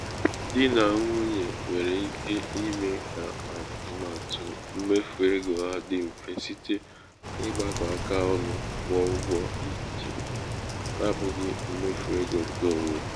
dị nà nwunye nwéré ike ime ka atụmatụ mmefu ego ha dị mfe site n'ịgbakọ aka ọnu kwụọ ụgwọ ichè n'abụghị mmefu ego nke onwe.